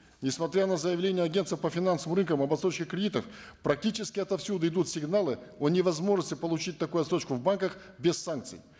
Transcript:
несмотря на заявления агентства по финансовым рынкам об отсрочке кредитов практически отовсюду идут сигналы о невозможности получить такую отсрочку в банках без санкций